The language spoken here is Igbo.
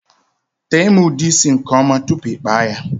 Tee m ude isi nke ọma tụpụ i kpaa ya!!!